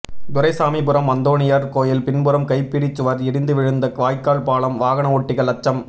துரைசாமிபுரம் அந்தோணியார் கோயில் பின்புறம் கைப்பிடி சுவர் இடிந்து விழுந்த வாய்க்கால் பாலம் வாகனஓட்டிகள் அச்சம்